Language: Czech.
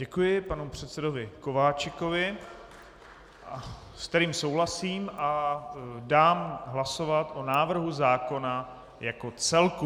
Děkuji panu předsedovi Kováčikovi, se kterým souhlasím, a dám hlasovat o návrhu zákona jako celku.